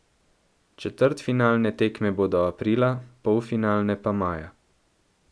Četrtfinalne tekme bodo aprila, polfinalne pa maja.